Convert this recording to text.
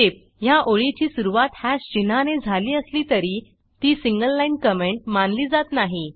टीपः ह्या ओळीची सुरूवात हॅश चिन्हाने झाली असली तरी ती सिंगल लाईन कॉमेंट मानली जात नाही